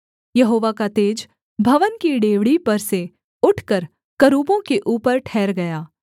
यहोवा का तेज भवन की डेवढ़ी पर से उठकर करूबों के ऊपर ठहर गया